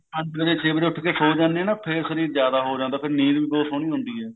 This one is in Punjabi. ਪੰਜ ਵੱਜੇ ਛੇ ਵੱਜੇ ਉੱਠ ਕੇ ਸੋ ਜਾਣੇ ਹਾਂ ਨਾ ਫੇਰ ਸ਼ਰੀਰ ਜਿਆਦਾ ਉਹ ਰਹਿੰਦਾ ਫੇਰ ਨੀਂਦ ਵੀ ਬਹੁਤ ਸੋਹਣੀ ਆਉਂਦੀ ਹੈ